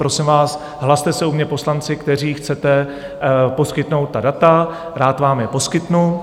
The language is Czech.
Prosím vás, hlaste se u mě poslanci, kteří chcete poskytnout ta data, rád vám je poskytnu.